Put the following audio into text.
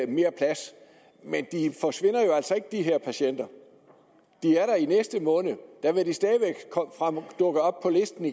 mere plads men de forsvinder jo altså ikke de her patienter de er der i næste måned der vil de stadig væk dukke op på listen